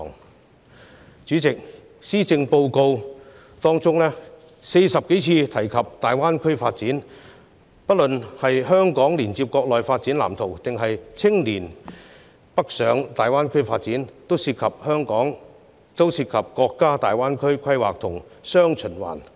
代理主席，施政報告曾40多次提及大灣區發展，不論是香港連接國內發展藍圖，抑或青年北上大灣區發展，均涉及國家大灣區規劃和雙循環。